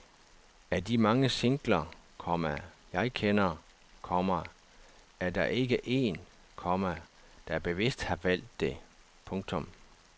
Af de mange singler, komma jeg kender, komma er der ikke en, komma der bevidst har valgt det. punktum